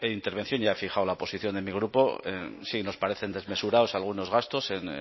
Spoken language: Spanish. intervención ya he fijado la posición de mi grupo sí nos parecen desmesurados algunos gastos en